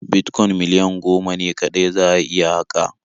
Bitcoin miliyan goma ne kaɗai za'a iya haƙa.